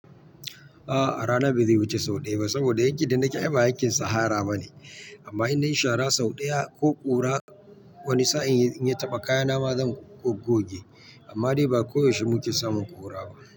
A'a, a rana ba zai wuce sau ɗaya ba saboda yakkin da nake ai ba yakkin sahara ba ne. Amma in nayi sha ra sau ɗaya ko ƙura wani sa'in in ya taɓa kaya na ma zan gogge. Amma dai ba koyaushe muke samun ƙura ba.